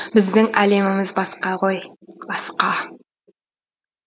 біздің әлеміміз басқа ғой басқа